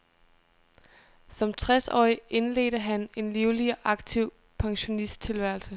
Som tres årig indledte han en livlig og aktiv pensionisttilværelse.